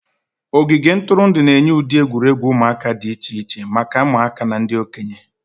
Ogige ntụrụndụ na-enye ụdị egwuregwu ụmụaka dị iche iche maka ụmụaka na ndị okenye.